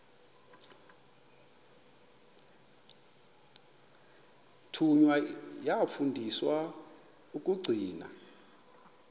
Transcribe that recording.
thunywa yafundiswa ukugcina